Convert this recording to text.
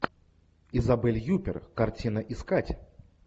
изабель юппер картина искать